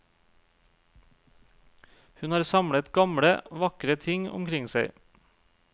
Hun har samlet gamle, vakre ting omkring seg.